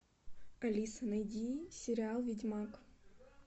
алиса найди сериал ведьмак